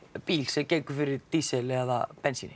bíl sem gengur fyrir díseli eða bensíni